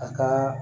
A kaa